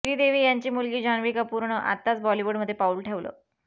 श्रीदेवी यांची मुलगी जान्हवी कपूरनं आताच बॉलिवूडमध्ये पाऊल ठेवलं